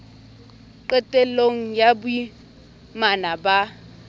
qetel long ya boimana ba